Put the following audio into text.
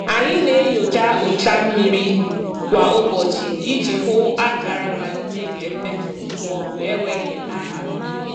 Anyị na-enyocha ụcha mmiri kwa ụbọchị iji hụ akara mmalite nke mmetọ maọbụ enweghị aha.